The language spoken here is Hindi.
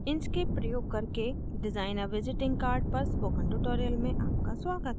inkscape प्रयोग करके design a visiting card पर spoken tutorial में आपका स्वागत है